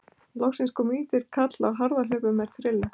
Loksins kom lítill karl á harðahlaupum með trillu.